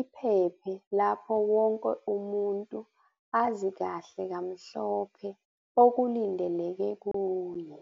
iphephe lapho wonke umuntu azi kahle kamhlophe okulindeleke kuye.